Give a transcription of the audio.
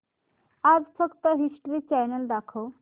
आज फक्त history channel दाखव